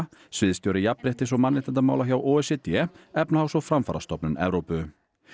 sviðsstjóri jafnréttis og mannréttindamála hjá o e c d Efnahags og framfarastofnun Evrópu